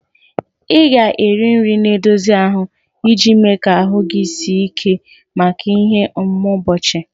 Ị ga-eri nri na-edozi ahụ iji mee ka ahụ gị sie ike maka ihe omume ụbọchị